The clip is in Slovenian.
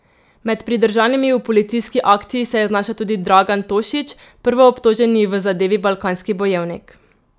Med pridržanimi v policijski akciji se je znašel tudi Dragan Tošić, prvoobtoženi v zadevi Balkanski bojevnik.